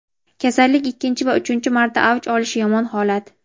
kasallik ikkinchi va uchinchi marta avj olishi yomon holat.